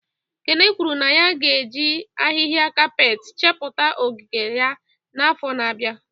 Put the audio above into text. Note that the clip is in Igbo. Kene kwuru na ya ga-eji ahịhịa kapet chepụta ogige ya n'afọ na-abịa